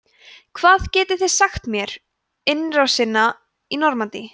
hvað getið þið sagt mér innrásina í normandí